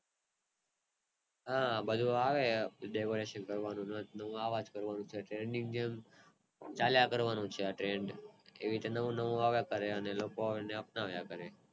હા બધું આવે decoration કરવાનું નથ નવું આવા જ કરે ચાલ્યા કરવાનું છે એ રીતે નવું નવું આવ્યા કરેઅને લોકો અપનાવ્યા કરે